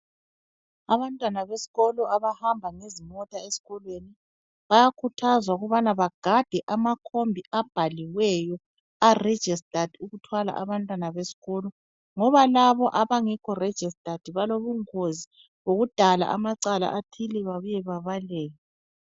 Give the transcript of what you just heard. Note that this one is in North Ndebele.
Abantwana besikolo abahamba ngezimota esikolweni, bayakhuthazwa ukubana begade amakhombi abhaliweyo arejistadi ukuthwala abantwana besikolo ngoba, labo abangekho rejistadi balobungozi yokudala amacala athile babuye bebaleke.